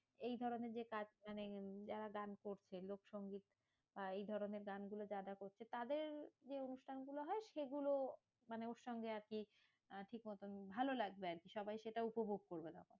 এই ধরণের যে কাজ মানে যারা গান করছে লোকসংগীত। আহ এই ধরণের গানগুলো যারা করছে তাদের যে অনুষ্ঠান গুলো হয় সেগুলো মানে ওর সঙ্গে আরকি আহ ঠিকমতন ভালো লাগবে আরকি। সবাই সেটা উপভোগ করবে।